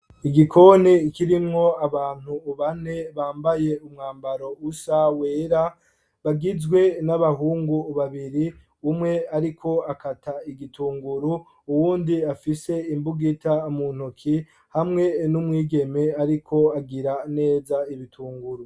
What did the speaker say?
Igikoni kirimwo abantu bane bambaye umwambaro usa wera, bagizwe n'abahungu babiri umwe ariko akata igitunguru uwundi afise imbugita muntoki hamwe n'umwigeme ariko agira neza ibitunguru.